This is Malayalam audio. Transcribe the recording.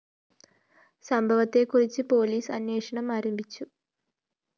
സംഭവത്തെ കുറിച്ച് പോലീസ് അന്വേഷണം ആരംഭിച്ചു